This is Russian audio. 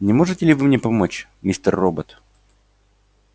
не можете ли вы мне помочь мистер робот